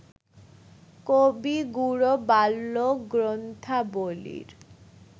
কবিগুরু বাল্য গ্রন্থাবলীর